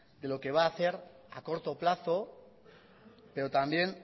de lo que va a hacer a corto plazo pero también